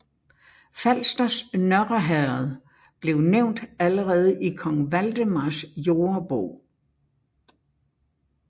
Falsters Nørre Herred blev nævnt allerede i Kong Valdemars Jordebog